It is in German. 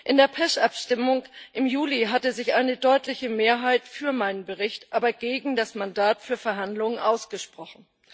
In der PECH Abstimmung im Juli hatte sich eine deutliche Mehrheit für meinen Bericht, aber gegen das Mandat für Verhandlungen ausgesprochen.